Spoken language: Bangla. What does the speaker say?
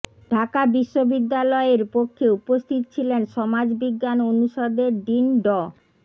ঢাকা বিশ্ববিদ্যালয়ের পক্ষে উপস্থিত ছিলেন সমাজ বিজ্ঞান অনুষদের ডিন ড